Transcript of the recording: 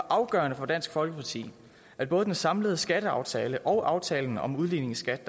afgørende for dansk folkeparti at både den samlede skatteaftale og aftalen om udligningsskat